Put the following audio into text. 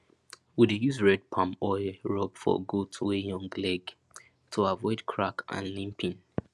we dey use red palm oil rub for goat wey young leg to avoid crack and limping